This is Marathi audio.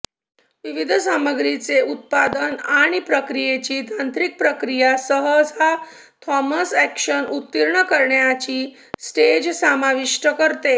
विविध सामग्रीचे उत्पादन आणि प्रक्रियेची तांत्रिक प्रक्रिया सहसा थर्मल अॅक्शन उत्तीर्ण करण्याची स्टेज समाविष्ट करते